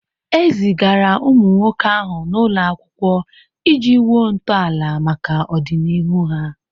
E zigara ụmụ nwoke ahụ n'ụlọ akwụkwọ iji wuo ntọala maka ọdịnihu ha.